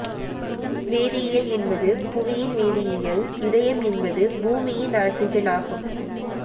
வேதியியல் என்பது புவியின் வேதியியல் இதயம் என்பது பூமியின் ஆக்ஸிஜன் ஆகும்